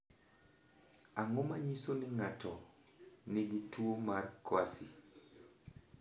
Ang’o ma nyiso ni ng’ato nigi tuwo mar COASY ?